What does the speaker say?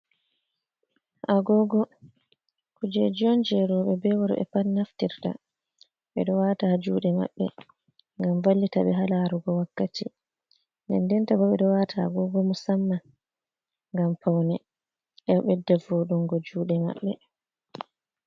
Agogo kujeji on jerobe be worbe pat naftirta, be do wata jude mabbe gam ballita be halarugo wakkati nendinta bo be do wata agogo musamma ngam paune ebe de vodungo jude mabbe.